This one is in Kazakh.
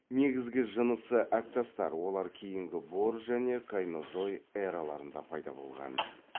негізгі жынысы әктастар олар кейінгі бор және кайнозой эраларында пайда болған